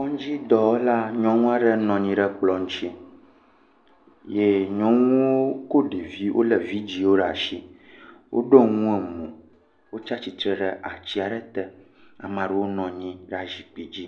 Kɔdzidɔwɔla nyɔnua ɖe nɔ anyi ɖe ekplɔ ŋuti ye nyɔnuwo kɔ ɖeviwo, wole vidzi ɖe asi. Woɖɔ nu emɔ, wòtsua tsitre ɖe ati aɖe te. Ame aɖewo nɔ anyi ɖe zikpui dzi.